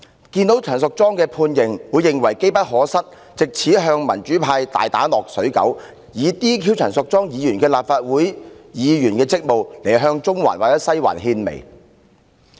既然陳淑莊議員被判刑，他們便會認為是機不可失，可乘機打擊民主派，藉解除陳淑莊議員的立法會議員職務向"中環"或"西環"獻媚。